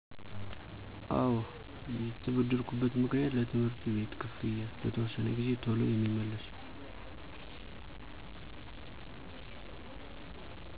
አወ የተበደርኩበት ምክንያት ለትምህርት ቤት ክፍያ ለተወሰነ ጊዚ ቶሎ የሚመለስ።